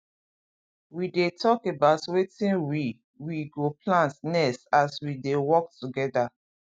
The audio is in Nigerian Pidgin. we dey talk about wetin we we go plant next as we dey work together